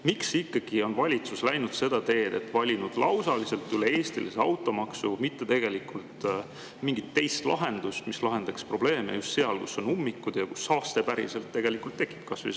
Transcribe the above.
Miks ikkagi on valitsus läinud seda teed, et on valinud lausalise, üle-eestilise automaksu, mitte mingit teist lahendust, mis probleeme just seal, kus on ummikud ja kus saaste tegelikult tekib?